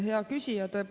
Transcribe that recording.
Hea küsija!